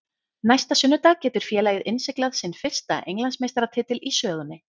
Næsta sunnudag getur félagið innsiglað sinn fyrsta Englandsmeistaratitil í sögunni.